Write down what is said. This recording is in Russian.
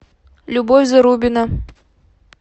любовь зарубина